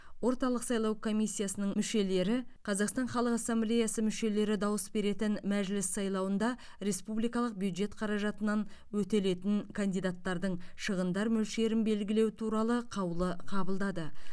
орталық сайлау коммиссиясының мүшелері қазақстан халық ассамблеясы мүшелері дауыс беретін мәжіліс сайлауында республикалық бюджет қаражатынан өтелетін кандидаттардың шығындар мөлшерін белгілеу туралы қаулы қабылдады